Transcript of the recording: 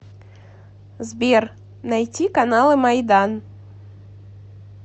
сбер найти каналы майдан